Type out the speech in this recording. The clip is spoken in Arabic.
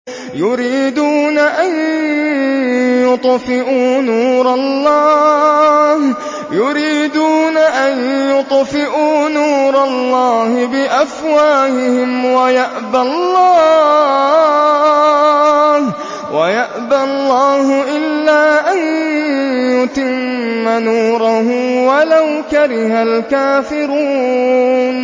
يُرِيدُونَ أَن يُطْفِئُوا نُورَ اللَّهِ بِأَفْوَاهِهِمْ وَيَأْبَى اللَّهُ إِلَّا أَن يُتِمَّ نُورَهُ وَلَوْ كَرِهَ الْكَافِرُونَ